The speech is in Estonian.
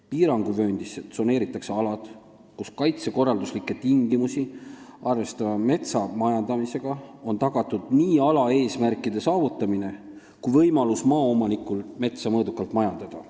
Piiranguvööndisse tsoneeritakse alad, kus kaitsekorralduslikke tingimusi arvestava majandamisega on tagatud nii ala eesmärkide saavutamine kui ka maaomaniku võimalus metsa mõõdukalt majandada.